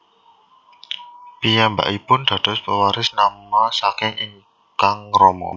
Piyambakipun dados pewaris nama saking ingkang rama